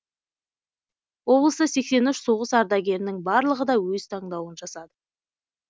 облыста сексен үш соғыс ардагерінің барлығы да өз таңдауын жасады